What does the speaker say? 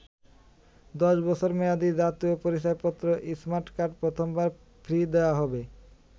১০ বছর মেয়াদি জাতীয় পরিচয়পত্র স্মার্ট কার্ড প্রথমবার ফ্রি দেয়া হবে।